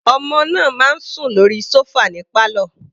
Ọmọ náà ń sùn lórí sofa ní pálọ̀.